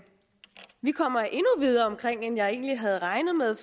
vi kommer endnu videre omkring end jeg egentlig havde regnet med